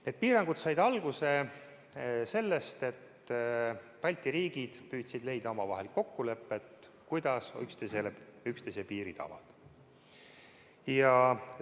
Need piirangud said alguse sellest, et Balti riigid püüdsid leida omavahel kokkulepet, kuidas üksteisele üksteise piire avada.